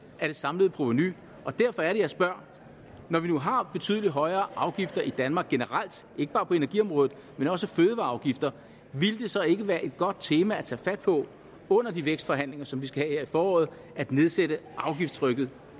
af det samlede provenu og derfor er det jeg spørger når vi nu har betydelig højere afgifter i danmark generelt ikke bare på energiområdet men også fødevareafgifter ville det så ikke være et godt tema at tage fat på under de vækstforhandlinger som vi skal i foråret at nedsætte afgiftstrykket